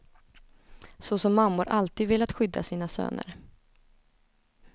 Så som mammor alltid velat skydda sina söner.